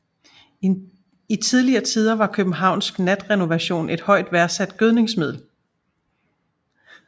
I tidligere tider var fx københavnsk natrenovation et højt værdsat gødningsmiddel